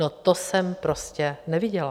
No to jsem prostě neviděla.